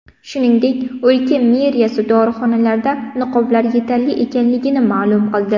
Shuningdek, o‘lka meriyasi dorixonalarda niqoblar yetarli ekanligini ma’lum qildi.